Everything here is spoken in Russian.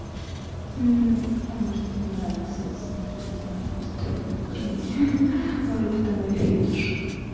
а может мне нравится смотреть на стрёмных парней может это мой фетиш